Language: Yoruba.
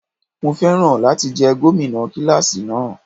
Mo féràn láti jẹ́ gómìnà kíláàsì náà.